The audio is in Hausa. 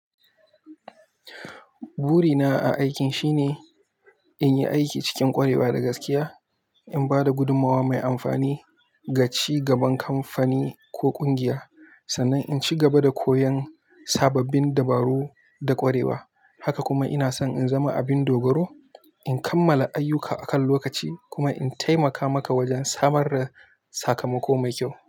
Burina a aikin shine in yi aiki cikin ƙwarewa da gaskiya, in ba da gudummawa mai amfani ga ci gaban kamfani ko ƙungiya, sannan in ci gaba da koyon sababbin dabaru da ƙwarewa. Haka kuma ina so in zama abin dogoro, in kammala ayyuka akan lokaci kuma in taimaka maka wajen samar da sakamako mai kyau.